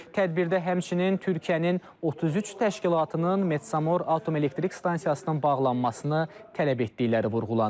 Tədbirdə həmçinin Türkiyənin 33 təşkilatının Metsamor Atom Elektrik Stansiyasının bağlanmasını tələb etdikləri vurğulanıb.